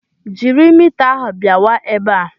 Jiri mita ahụ bịawa ebe a!